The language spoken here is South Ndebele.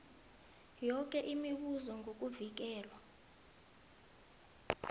yoke imibuzo ngokuvikelwa